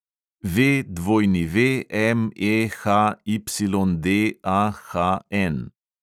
VWMEHYDAHN